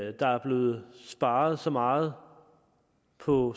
at der er blevet sparet så meget på